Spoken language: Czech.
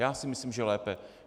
Já si myslím, že lépe.